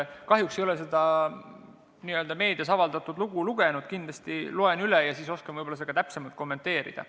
Kahjuks ei ole ma seda meedias avaldatud lugu lugenud, kindlasti loen üle ja siis oskan võib-olla seda täpsemalt kommenteerida.